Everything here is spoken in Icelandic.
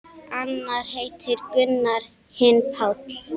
Annar heitir Gunnar, hinn Páll.